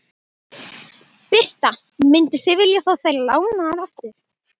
Birta: Mynduð þið vilja fá þær lánaðar aftur?